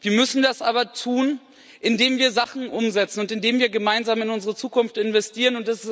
Wir müssen das aber tun, indem wir Sachen umsetzen und indem wir gemeinsam in unsere Zukunft investieren.